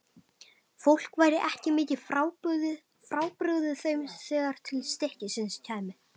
Fólk væri ekki mikið frábrugðið þeim þegar til stykkisins kæmi.